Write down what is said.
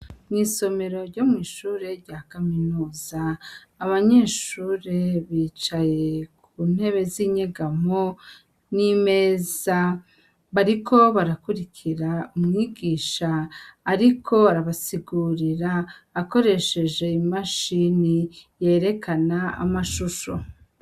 Mw'isomero ryo mw'ishure rya kaminuza, abanyeshure bicaye ku ntebe z'inyegamo n'imeza. Bariko barakwirikira umwigisha ariko arabasigurira akoresheje imashini yerekana amashusho.